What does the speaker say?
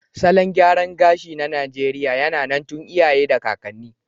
Salon gyaran gashi na Najeriya yAna nan tun iya ye da kakani